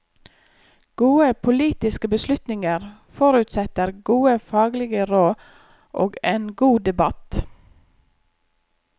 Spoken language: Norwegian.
Gode politiske beslutninger forutsetter gode faglige råd og en god debatt.